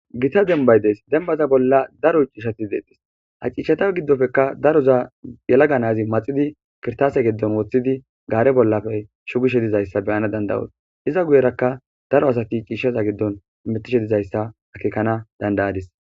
Gitta dembbay de'es.dembbata bolla daro dishshatti de'ettes. Ha dishshatta giddonppekka daroza yeelaga na'ay maxiddi kirchatte giddo wottidi gaare bolla shugii shiridayssa be'anaw danda'os. Iza guyerakka daro asatti dhishshatta giddon hamettishe dizayssa akekana dandayadis.